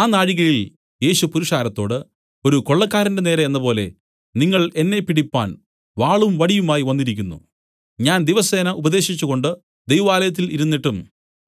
ആ നാഴികയിൽ യേശു പുരുഷാരത്തോട് ഒരു കൊള്ളക്കാരന്റെ നേരെ എന്നപോലെ നിങ്ങൾ എന്നെ പിടിപ്പാൻ വാളും വടിയുമായി വന്നിരിക്കുന്നു ഞാൻ ദിവസേന ഉപദേശിച്ചുകൊണ്ട് ദൈവാലയത്തിൽ ഇരുന്നിട്ടും